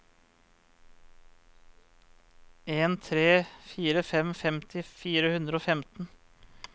en tre fire fem femti fire hundre og femten